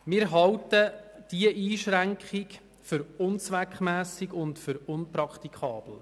Wir halten diese Einschränkung für unzweckmässig und unpraktikabel.